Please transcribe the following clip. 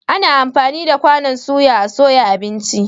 Ana amfani da kwanon soya a soya abinci.